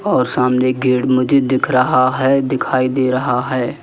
और सामने गेड मुझे दिख रहा है दिखाई दे रहा है।